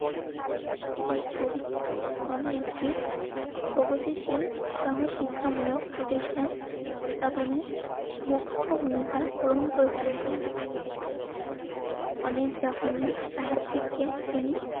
school নামে একটি প্রগতিশীল সহ শিক্ষামূলক প্রতিষ্ঠান স্থাপনের মুখ্য ভূমিকা গ্রহণ করেছিলেন তিনি অনার্স জাপানি, সাহিত্যিকের তিনি